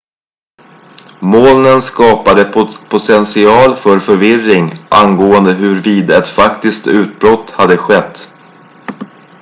molnen skapade potential för förvirring angående huruvida ett faktiskt utbrott hade skett